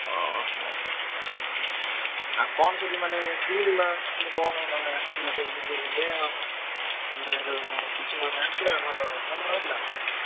ଅହୋ! ଆଉ କଣ ସେଠି ମାନେ କିମିତି କଣ ମାନେ ଆସିଥିଲା ସବୁ DJ ଫିଜେ ଆଉ ମାନେ ଯୋଉ କିଛି ମାନେ ଆସିଥିଲା ଭଲ ଭଲ ହେଲା?